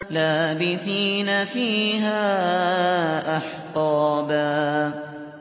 لَّابِثِينَ فِيهَا أَحْقَابًا